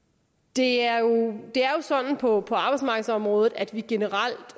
det er jo sådan på på arbejdsmarkedsområdet at vi generelt